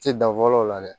Ti dan fɔlɔ o la dɛ